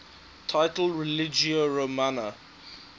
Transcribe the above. title religio romana